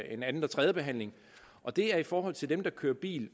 en anden og tredjebehandling og det er i forhold til dem der kører bil